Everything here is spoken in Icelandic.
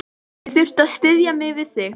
Ég þurfti að styðja mig við þig.